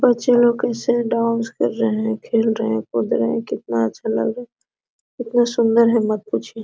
बच्चे लोग कैसे डांस कर रहे हैं खेल रहे हैं कूद रहे हैं कितना अच्छा लग रहा है कितना सुंदर है मत पूछिए।